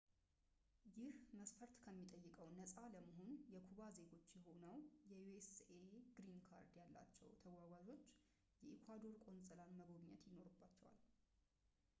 ይህ መስፈርት ከሚጠይቀው ነፃ ለመሆን የኩባ ዜጎች ሆነው የዩኤስኤ ግሪን ካርድ ያላቸው ተገጓዦች የኢኳዶር ቆንፅላን መጎብኘት ይኖርባቸዋል